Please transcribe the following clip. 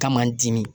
Kama n dimi